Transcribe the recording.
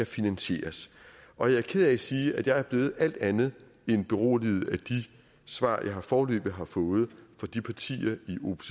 finansiere og jeg er ked af at sige at jeg er blevet alt andet end beroliget af de svar jeg foreløbig har fået fra de partier